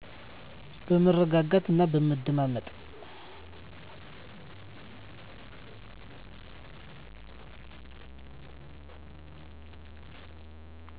በመረጋጋት እና በመደማመጥ